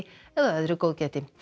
eða öðru góðgæti